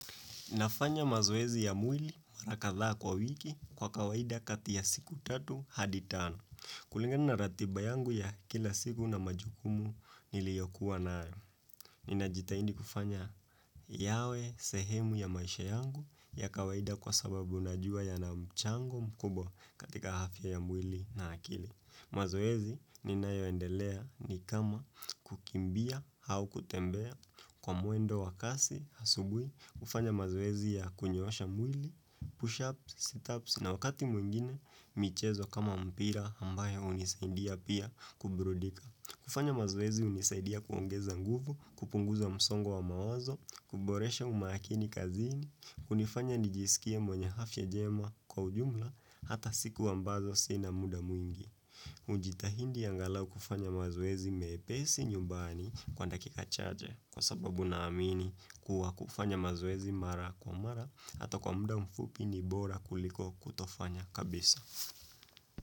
Nafanya mazoezi ya mwili marakadha kwa wiki kwa kawaida kati ya siku tatu hadi tano. Kulingani na ratiba yangu ya kila siku na majukumu niliyokuwa nayo. Nina jitahidi kufanya yawe sehemu ya maisha yangu ya kawaida kwa sababu najuwa yana mchango mkubwa katika afya ya mwili na akili. Mazoezi ninayoendelea nayo ni kama kukimbia au kutembea kwa mwendo wa kasi asubuhi, kufanya mazoezi ya kunyorosha mwili, push-ups, sit-ups na wakati mwingine michezo kama mpira ambayo hunisaidia pia kuburudika. Kufanya mazoezi hunisaidia kuongeza nguvu, kupunguza msongo wa mawazo, kuboresha umakini kazini, hunifanya nijisikie mwenye afya njema kwa ujumla, hata siku ambazo sina muda mwingi. Kujitahidi angalau kufanya mazoezi mepesi nyumbani kwa dakika chache, kwa sababu naamini kuwa kufanya mazoezi mara kwa mara hata kwa muda mfupi ni bora kuliko kutofanya kabisa.